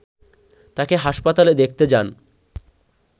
তাঁকে হাসপাতালে দেখতে যান